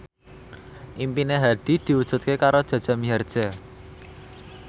impine Hadi diwujudke karo Jaja Mihardja